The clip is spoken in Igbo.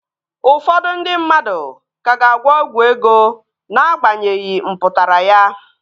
Ụfọdụ ndị mmadụ ka ga-agwọ ọgwụ ego Na-agbanyeghi mpụtara ya